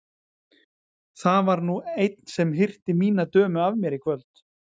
Það var nú einn sem hirti mína dömu af mér í kvöld!